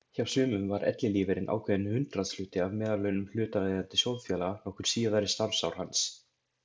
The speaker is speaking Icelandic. Hjá sumum var ellilífeyririnn ákveðinn hundraðshluti af meðallaunum hlutaðeigandi sjóðfélaga nokkur síðari starfsár hans.